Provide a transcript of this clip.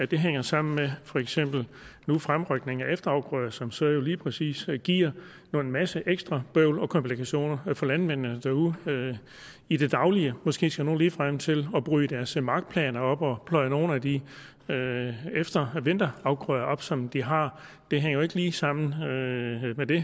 det hænger sammen med for eksempel fremrykningen af efterafgrøder som så lige præcis giver en masse ekstra bøvl og komplikationer for landmændene derude i det daglige måske skal nogle ligefrem til at bryde deres markplaner op og pløje nogle af de vinterafgrøder op som de har det hænger jo ikke lige sammen